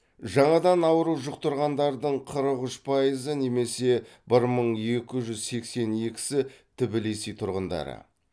жаңадан ауру жұқтырғандардың қырық үш пайызы немесе бір мың екі жүз сексен екісі тбилиси тұрғындары